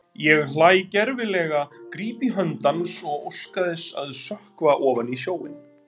Ég hlæ gervilega, gríp í hönd hans og óska þess að sökkva ofan í sjóinn.